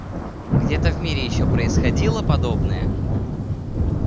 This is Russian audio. где-то в мире ещё происходило подобное